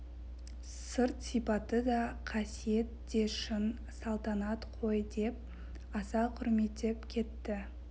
сырт сипаты да қасиет де шын салтанат қой деп аса құрметтеп кетті